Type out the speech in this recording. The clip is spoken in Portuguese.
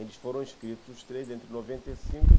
Eles foram escritos, os três, entre noventa e cinco